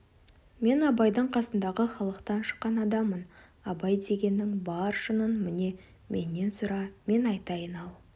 мен абайдың қасындағы халықтан шыққан адаммын абай дегеннің бар шынын міне менен сұра мен айтайын ал